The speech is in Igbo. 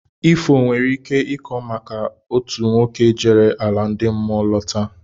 Ifo nwere ike ịkọ maka otu nwoke jere ala ndị mmụọ lọta